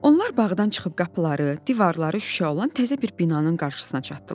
Onlar bağdan çıxıb qapıları, divarları şüşə olan təzə bir binanın qarşısına çatdılar.